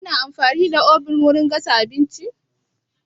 Kuna amfani da oven wurin gasa abinci?